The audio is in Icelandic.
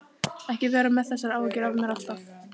Ekki vera með þessar áhyggjur af mér alltaf!